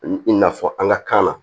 I na fɔ an ka kan na